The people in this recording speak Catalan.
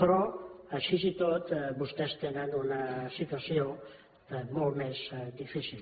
però així i tot vostès tenen una situació molt més difícil